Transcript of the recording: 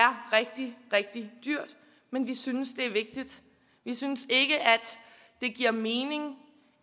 rigtig rigtig dyrt men vi synes det er vigtigt vi synes ikke at det giver mening